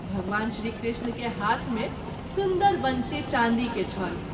भगवान श्री कृष्ण के हाथ मे सुन्दर वंशी चाँदी के छल।